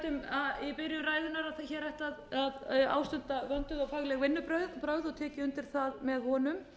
ætti að ástunda vönduð og fagleg vinnubrögð og tek ég undir það með honum